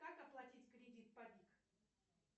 как оплатить кредит по бик